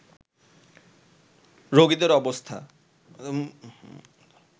রোগীদের অবস্থা